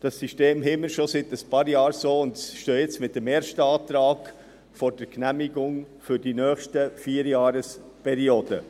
Dieses System besteht so schon seit einigen Jahren, und wir stehen jetzt mit dem ersten Antrag vor der Genehmigung für die nächste Vierjahresperiode.